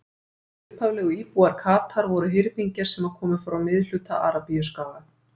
Hinir upphaflegu íbúar Katar voru hirðingjar sem komu frá miðhluta Arabíuskaga.